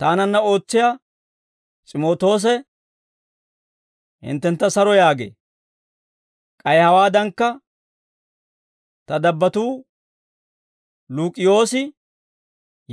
Taananna ootsiyaa S'imootoose hinttentta saro yaagee; k'ay hawaadankka, ta dabbattuu Luuk'iyoosi,